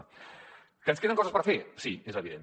que ens queden coses per fer sí és evident